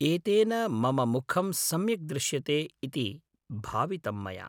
एतेन मम मुखं सम्यक् दृश्यते इति भावितं मया।